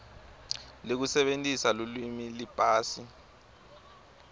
lekusebentisa lulwimi liphasi